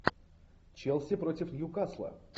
челси против ньюкасла